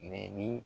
Mɛ ni